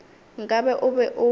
nka be o be o